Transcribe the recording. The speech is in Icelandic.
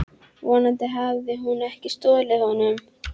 Vonandi hafði hún ekki stolið honum.